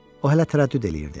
O hələ tərəddüd eləyirdi.